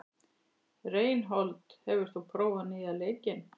Reinhold, hefur þú prófað nýja leikinn?